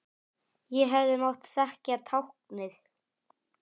Ég hefði mátt þekkja táknið.